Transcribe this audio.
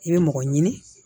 I bɛ mɔgɔ ɲini